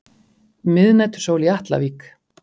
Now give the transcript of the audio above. Miðnætursól í Atlavík.